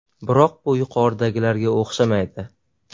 Biroq bu yuqoridagilarga o‘xshamaydi.